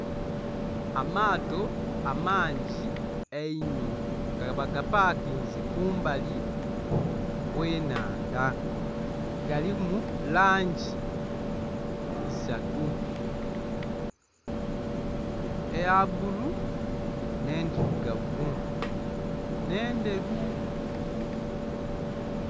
Amaato amangi einho nga baga pakinze kumbali okw'enhandha galimu langi isatu eya bbulu n'endhirugavu, n'endheru .